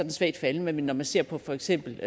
er svagt faldende men når man ser på for eksempel